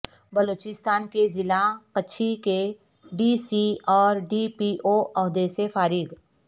بلوچستان کے ضلع کچھی کے ڈی سی اور ڈی پی او عہدے سے فارغ